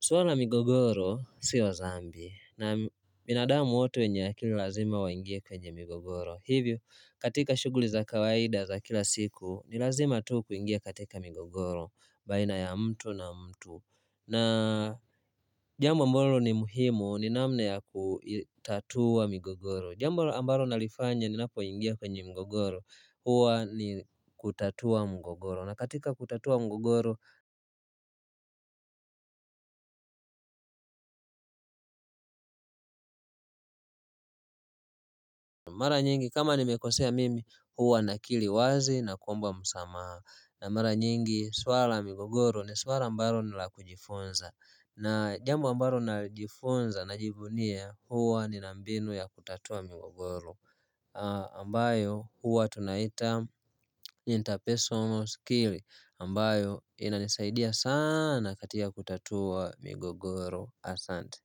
Suala la migogoro sio dhambi. Na binadamu wote wenye akili lazima waingie kwenye migogoro. Hivyo katika shughuli za kawaida za kila siku ni lazima tu kuingie katika migogoro. Baina ya mtu na mtu. Na jambo ambalo ni muhimu ni namna ya kutatua migogoro Jambo ambalo nalifanya ninapo ingia kwenye mgogoro huwa ni kutatua mgogoro na katika kutatua mgogoro mara nyingi kama nimekosea mimi huwa nakiri wazi na kuomba msamaha na mara nyingi swala la migogoro ni swala ambalo nilakujifunza na jambo ambalo najifunza na jivunia huwa nina mbinu ya kutatua mgogoro ambayo huwa tunaiita interpersonal skill ambayo inanisaidia sana katika kutatua migogoro asante.